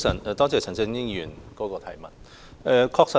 多謝陳振英議員提出質詢。